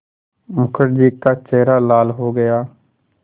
मुखर्जी का चेहरा लाल हो गया